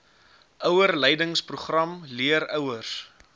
ouerleidingsprogram leer ouers